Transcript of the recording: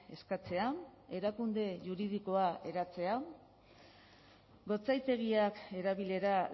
eskatzea erakunde juridikoa eratzea gotzaitegiak erabilera